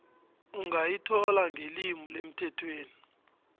ungayithola ngelimi lemthethweni